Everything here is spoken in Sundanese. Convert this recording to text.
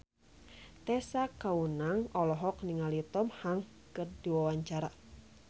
Tessa Kaunang olohok ningali Tom Hanks keur diwawancara